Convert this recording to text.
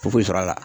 Foyi sɔrɔ la